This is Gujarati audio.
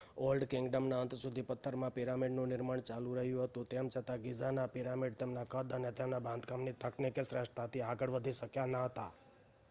ઓલ્ડ કિંગડમના અંત સુધી પથ્થરમાં પિરામિડનું નિર્માણ ચાલુ રહ્યું હતું તેમ છતાં ગિઝાના પિરામિડ તેમના કદ અને તેમના બાંધકામની તકનીકી શ્રેષ્ઠતાથી આગળ વધી શક્યા ન હતા